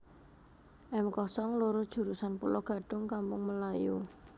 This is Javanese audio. M kosong loro jurusan Pulogadung Kampung Melayu